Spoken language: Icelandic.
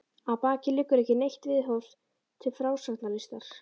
Að baki liggur ekki neitt viðhorf til frásagnarlistar.